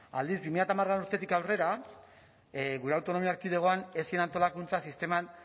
aldiz bi mila hamalaugarrena urtetik aurrera gure autonomia erkidegoan ez zen autolakuntza sisteman